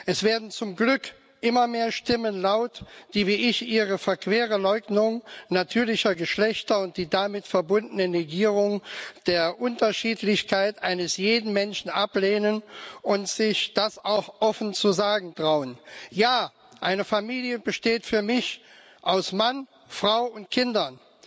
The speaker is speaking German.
Es werden zum Glück immer mehr Stimmen laut, die wie ich Ihre verquere Leugnung natürlicher Geschlechter und die damit verbundene Negierung der Unterschiedlichkeit eines jeden Menschen ablehnen und sich das auch offen zu sagen trauen. Ja, eine Familie besteht für mich aus Mann, Frau und Kindern.